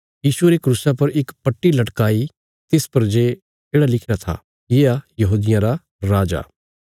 यीशुये रे क्रूसा पर इक पट्टी लगाई तिस पर जे येढ़ा लिखिरा था येआ यहूदियां रा राजा